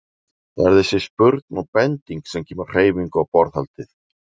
Það er þessi spurn og bending sem kemur hreyfingu á borðhaldið.